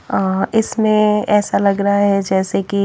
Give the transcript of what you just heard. अह इसमें ऐसा लग रहा है जैसे कि--